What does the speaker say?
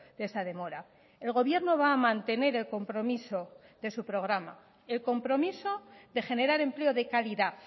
de esa demora el gobierno va a mantener el compromiso de su programa el compromiso de generar empleo de calidad